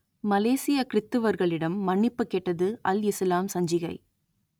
மலேசியக் கிறித்துவர்களிடம் மன்னிப்புக் கேட்டது அல் இசுலாம் சஞ்சிகை